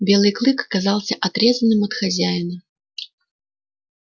белый клык оказался отрезанным от хозяина